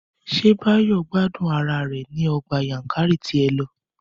Ṣé Báyọ̀ gbádùn ara rẹ̀ ní Ọgbà Yankari tí ẹ lọ?